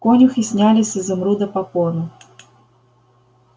конюхи сняли с изумруда попону